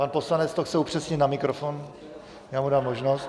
Pan poslanec to chce upřesnit na mikrofon, já mu dám možnost.